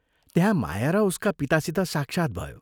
त्यहाँ माया र उसका पितासित साक्षात् भयो।